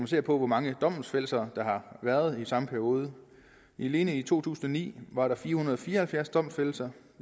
ser på hvor mange domfældelser der har været i samme periode alene i to tusind og ni var der fire hundrede og fire og halvfjerds domfældelser